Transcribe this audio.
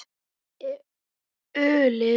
Hvar er ölið?